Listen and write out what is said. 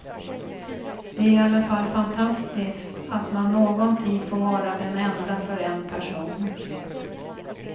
Det är i alla fall fantastiskt att man någon tid får vara den enda för en person.